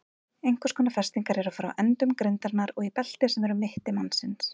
Einhvers konar festingar eru frá endum grindarinnar og í belti sem er um mitti mannsins.